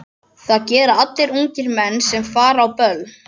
Það gera allir ungir menn sem fara á böll.